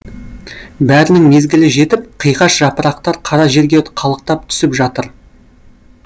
бәрінің мезгілі жетіп қиғаш жапырақтар қара жерге қалықтап түсіп жатыр